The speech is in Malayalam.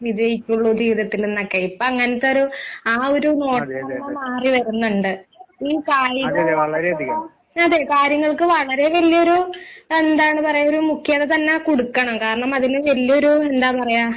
വിജയിക്കുള്ളൂ ജീവിതത്തിലെന്നൊക്കെ ഇപ്പെ അങ്ങനെത്തൊരു ആ ഒരു മോഡലൊന്ന് മാറിവരുന്നുണ്ട്. ഈ കായികമായിട്ടുള്ള അതെ കാര്യങ്ങൾക്ക് വളരെ വല്ല്യൊരു എന്താണ് പറയ ഒരു മുഖ്യത തന്നെ കൊടുക്കണം കാരണം അതിന് വല്ല്യൊരു എന്താ പറയാ